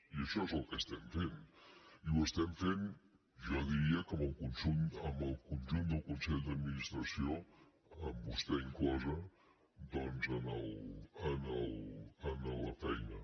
i això és el que estem fem i ho estem fem jo ho diria amb el conjunt del consell d’adminis·tració amb vostè inclosa doncs en la feina